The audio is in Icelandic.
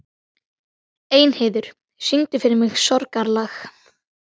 Elínheiður, syngdu fyrir mig „Sorgarlag“.